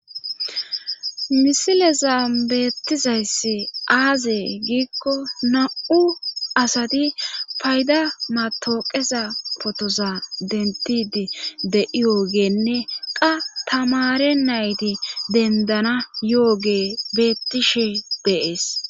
Misileza beettizayssi aazee giikko na7u asati payda matawoqeza potoza dentidi de7i yoogenne qa tamare nayti dendana yo7oge bettishe de7es.